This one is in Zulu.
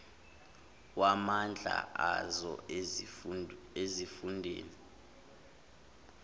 wamandla azo ezifundeni